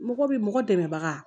Mɔgɔ bɛ mɔgɔ dɛmɛbaga